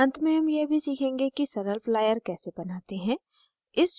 अंत में हम यह भी सीखेंगे कि सरल flyer कैसे बनाते हैं